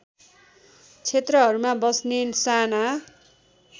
क्षेत्रहरूमा बस्ने साना